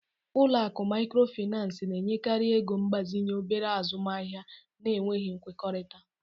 Ụlọ akụ Microfinance na-enyekarị ego mgbazinye obere azụmaahịa na-enweghị nkwekọrịta